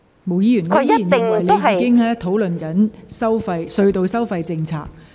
毛議員，我仍然認為你正在討論隧道收費政策。